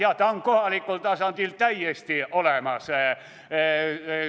Ja ta on kohalikul tasandil täiesti olemas.